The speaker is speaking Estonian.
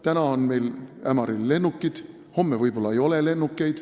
Täna on meil Ämaril lennukid, homme võib-olla enam ei ole.